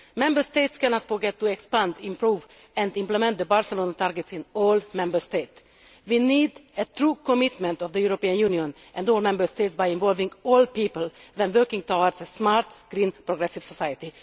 Member States cannot neglect to expand, improve and implement the Barcelona targets in all Member States. We need the true commitment of the European Union and all Member States by involving all people when working towards a smart, green progressive society.